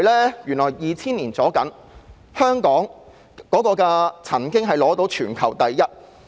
在2000年左右，香港的港口吞吐量曾經是全球第一。